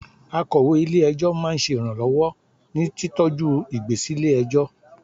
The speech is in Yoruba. Akọ̀wé ilé - ẹjọ́ máa ń ṣe iranlọwọ ní títọ ju ìgbésí lè ẹjọ́